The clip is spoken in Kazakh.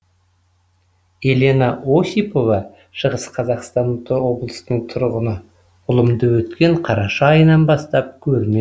елена осипова шығыс қазақстан облысының тұрғыны ұлымды өткен қараша айынан бастап көрмедім